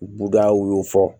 Budaw y'o fɔ